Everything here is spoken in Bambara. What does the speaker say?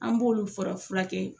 An b'olu fara fura kɛ.